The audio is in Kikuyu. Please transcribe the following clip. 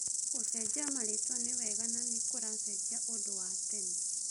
Gucenjia marĩtwa nĩ wega na nĩ kũracenjia ũndũ wa tene ?